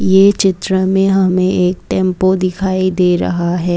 ये चित्र में हमें एक टेंपो दिखाई दे रहा है।